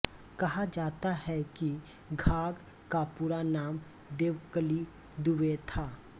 कहा जाता है कि घाघ का पूरा नाम देवकली दुबे था